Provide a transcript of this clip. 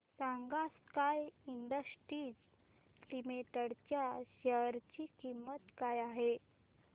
सांगा Sky Industries limited च्या share ची किंमत काय आहे